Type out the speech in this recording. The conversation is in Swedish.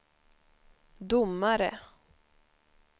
domare